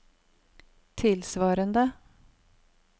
tilsvarende